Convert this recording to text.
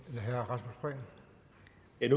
et